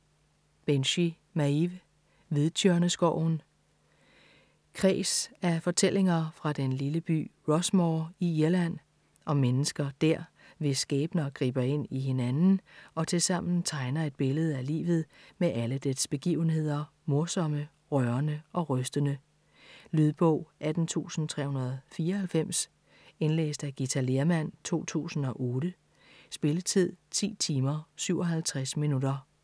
Binchy, Maeve: Hvidtjørneskoven Kreds af fortællinger fra den lille by Rossmore i Irland, om mennesker dér, hvis skæbner griber ind i hinanden og tilsammen tegner et billede af livet med alle dets begivenheder, morsomme, rørende og rystende. Lydbog 18394 Indlæst af Githa Lehrmann, 2008. Spilletid: 10 timer, 57 minutter.